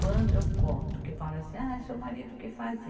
Quando eu conto, que falam assim, ah, seu marido o que fazi?